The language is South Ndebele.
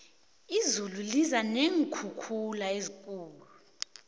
izulu liza neenkhukhula ezikhulu